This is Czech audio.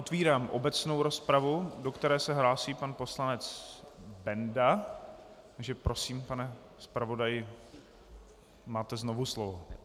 Otevírám obecnou rozpravu, do které se hlásí pan poslanec Benda, takže prosím, pane zpravodaji, máte znovu slovo.